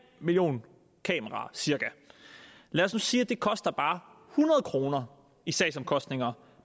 million kameraer lad os nu sige at det koster bare hundrede kroner i sagsomkostninger